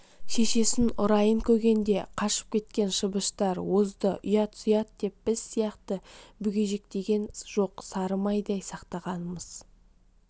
шешесін ұрайын көгенде қашып кеткен шыбыштар озды ұят-сұят деп біз сияқты бүгежектеген жоқ сары майдай сақтағанымыз